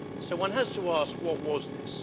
One has to ask what was this?